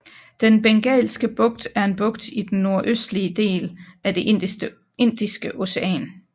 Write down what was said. Den Bengalske Bugt er en bugt i den nordøstlige del af det Indiske Ocean